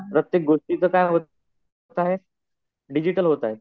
प्रत्येक गोष्टीचं काय होत आहे? डिजिटल होत आहे.